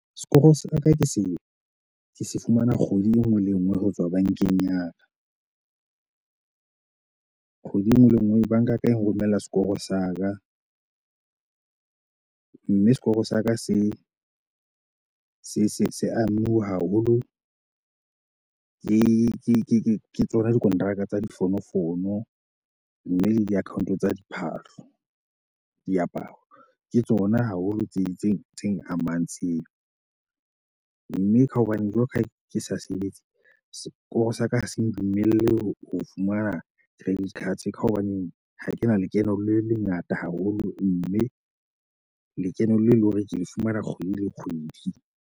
Sekoro sa ka ke se ke se fumana kgwedi e nngwe le e nngwe ho tswa bankeng ya ka. Kgwedi e nngwe le nngwe, banka ya ka e nromella sekoro sa ka. Mme sekoro sa ka se se se se amiwe haholo ke tsona dikonteraka tsa difonofono, mme le di-account tsa diphahlo, diaparo. Ke tsona haholo tse itseng tse amang tseo. Mme ka hobane jwalo ka ha ke sa sebetse, sekoro sa ka ha se ndumelle ho fumana credit card ka hobaneng ha kena lekeno le lengata haholo, mme lekeno le eleng hore ke le fumana kgwedi le kgwedi.